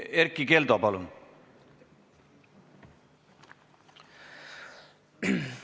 Erkki Keldo, palun!